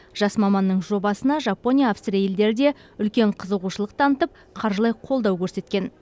жас маманның жобасына жапония аустрия елдері де үлкен қызығушылық танытып қаржылай қолау көрсеткен